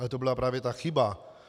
Ale to byla právě ta chyba!